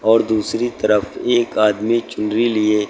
और दूसरी तरफ एक आदमी चुनरी लिए--